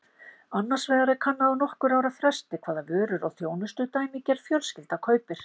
Annars vegar er kannað á nokkurra ára fresti hvaða vörur og þjónustu dæmigerð fjölskylda kaupir.